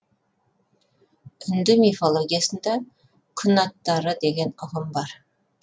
үнді мифологиясында күн аттары деген ұғым бар